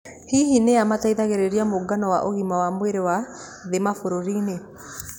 Hihi nĩa mateithagĩrĩria mũngano wa ũgima wa mwĩrĩ wa thĩ mabaroinĩ?